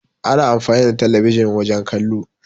Ana amfani da telebijin wajen kallo.